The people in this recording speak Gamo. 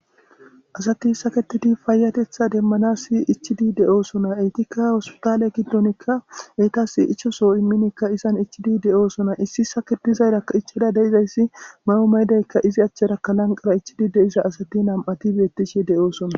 Asati saketidi faayatetha demmana si ichidi de'oosona etikka hospitaale giddonikka eytas ichoso imminikka izan ichidi de'oosona issi saketizayrakka ichada deizayssi ma'o maydaykka izi achcharakka lanqara ichidi deiza asati nam'ati beettishi de'oosona.